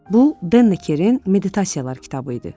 Bu Denkerin meditasiyalar kitabı idi.